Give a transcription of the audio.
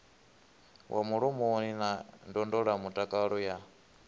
wa mulomoni na ndondolamutakalo ya